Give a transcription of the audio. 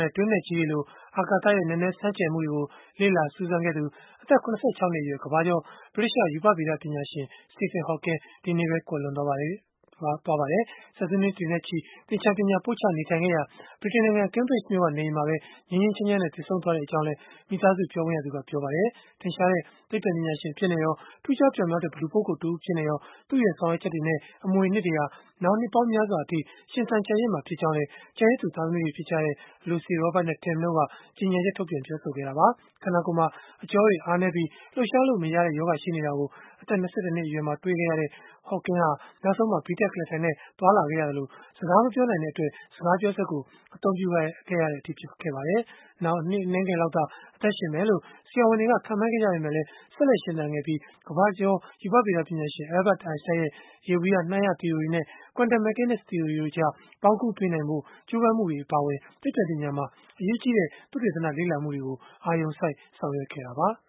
နဲ့ တွင်းနက်ကြီးတွေလို အာကာသရဲ့ နက်နဲဆန်းကြယ်မှုတွေကို လေ့လာစူးစမ်းခဲ့သူ အသက် ၇၆ နှစ်အရွယ် ကမ္ဘာကျော် ဗြိတိသျှ ရူပဗေဒပညာရှင် Stephen Hawking ဒီကနေ့ပဲ ကွယ်လွန်သွားပါပြီ။ ဆယ်စုနှစ်နဲ့ချီ သချာၤပညာပို့ချနေတဲ့ ဗြိတိန်နိုင်ငံ Cambridge မြို့က နေအိမ်မှာ ငြိမ်းငြိမ်းချမ်းချမ်းနဲ့ သေဆုံးသွားခဲ့ကြောင်းလည်း မိသားစုပြောခွင့်ရသူက ပြောပါတယ်။ ထင်ရှားတဲ့ သိပ္ပံပညာရှင် အဖြစ်နဲ့ရော၊ ထူးခြားတဲ့ လူပုဂ္ဂိုလ်တဦးအဖြစ်နဲ့ရော သူ့ရဲ့ဆောင်ရွက်ချက်တွေနဲ့ အမွေအနှစ်တွေဟာ နောင်နှစ်ပေါင်းများစွာအထိ ရှင်သန် ကျန်ရစ်မှာဖြစ်ကြောင်းလည်း ကျန်ရစ်သူ သားသမီးတွေ ဖြစ်ကြတဲ့ Lucy, Robert နဲ့ Tim တို့က ကြေညာချက်မှာ ပြောဆိုခဲ့တာပါ။ ခန္ဓာကိုယ်မှာ အကြောတွေအားနည်းပြီး လှုပ်ရှားလို့မရတဲ့ရောဂါ ရှိနေတာကို အသက် ၂၁ နှစ်အရွယ်မှာ တွေ့ရှိခဲ့ရတဲ့ Hawking ဟာ နောက်ဆုံးမှာ ဘီးတပ်ကုလားထိုင်နဲ့ သွားလာခဲ့ရသလို၊ စကားမပြောနိုင်တဲ့အတွက် စကားပြောစက်ကို အသုံးပြုခဲ့ရတဲ့အထိ ဖြစ်ခဲ့ပါတယ်။ နှစ်အနည်းငယ်လောက်သာ အသက်ရှင်မယ်လို့ ဆရာဝန်တွေက ခန့်မှန်းခဲ့ကြပေမဲ့၊ ဆက်လက်ရှင်သန်ခဲ့ပြီး ကမ္ဘာကျော် ရူပဗေဒ ပညာရှင် Albert Einstein ရဲ့ ယေဘုယျနှိုင်းရသီအိုရီနဲ့ Quantum Mechanics သီအိုရီတို့ကြား ပေါင်းကူးပေးနိုင်ဖို့ ကြိုးပမ်းမှု အပါအဝင် သိပ္ပံပညာမှာ အရေးကြီးတဲ့ သုတေသနလေ့လာမှုတွေကို အာရုံစိုက်ဆောင်ရွက်ခဲ့တာပါ။